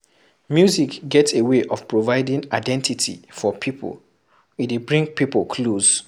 Music get a way of providing identity for pipo, e dey bring pipo close